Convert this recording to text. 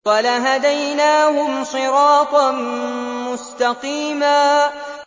وَلَهَدَيْنَاهُمْ صِرَاطًا مُّسْتَقِيمًا